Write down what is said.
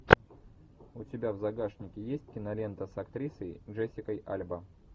у тебя в загашнике есть кинолента с актрисой джессикой альба